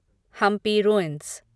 Hampi ruins